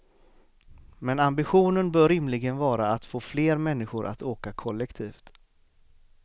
Men ambitionen bör rimligen vara att få fler människor att åka kollektivt.